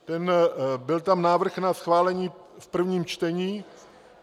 Byl tam návrh na schválení v prvním čtení.